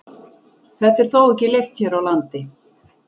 Þetta er þó ekki leyft hér á landi.